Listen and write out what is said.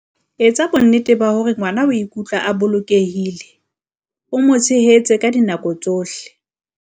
Etsa bonnete ba hore ngwana o ikutlwa a bolokehile, o mo tshehetse ka dinako tsohle.